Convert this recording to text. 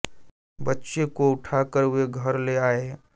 बच्चे को उठा कर वे घर ले आए